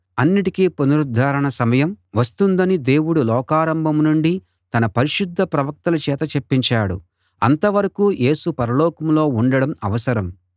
అన్నిటికీ పునరుద్ధరణ సమయం వస్తుందని దేవుడు లోకారంభం నుండి తన పరిశుద్ధ ప్రవక్తల చేత చెప్పించాడు అంతవరకూ యేసు పరలోకంలో ఉండడం అవసరం